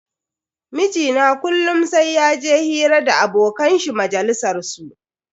Mijina kullum sai yaje hira da abokan shi majalisar su.